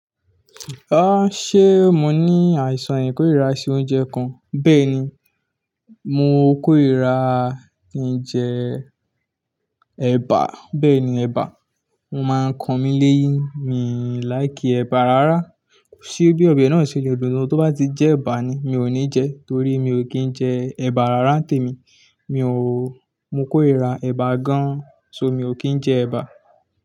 Ah ṣe mo ní àìsàn ìkórìíra sí oúnjẹ kan? Bẹ́ẹ̀ni, mo kórìíra ki jẹ ẹ̀bà. Bẹ́ẹ̀ni ẹ̀bà. Ọ́ máa ń kan mí léyín. Mi láìkì ẹ̀bà rárá. Kò sí bí ọbẹ̀ náà ṣe le dùn ni tó bá ti jẹ́ ẹ̀bà ni. Mi ò ní jẹ ẹ́ torí mi ò kí ń jẹ ẹ̀bà rárá. Témi, mi ò, mo kórìíra ẹ̀bà gan-an. So mi ò kí ń jẹ ẹ̀bà.